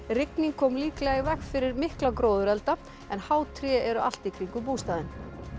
rigning kom líklega í veg fyrir mikla gróðurelda en há tré eru allt í kringum bústaðinn